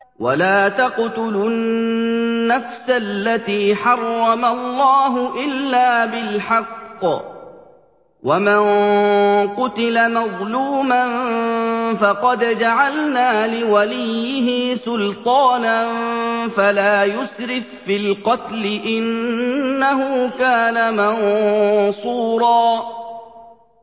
وَلَا تَقْتُلُوا النَّفْسَ الَّتِي حَرَّمَ اللَّهُ إِلَّا بِالْحَقِّ ۗ وَمَن قُتِلَ مَظْلُومًا فَقَدْ جَعَلْنَا لِوَلِيِّهِ سُلْطَانًا فَلَا يُسْرِف فِّي الْقَتْلِ ۖ إِنَّهُ كَانَ مَنصُورًا